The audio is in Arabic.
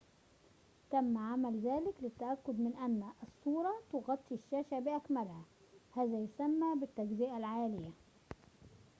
تم عمل ذلك للتأكد من أن الصورة تغطي الشاشة بأكملها هذا يُسمى بالتجزئة العالية